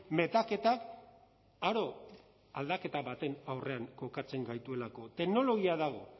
metaketak aro aldaketa baten aurrean kokatzen gaituelako teknologia dago